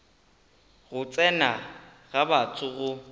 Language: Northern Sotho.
go tsena ga batho go